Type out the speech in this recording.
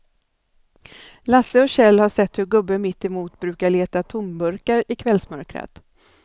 Lasse och Kjell har sett hur gubben mittemot brukar leta tomburkar i kvällsmörkret.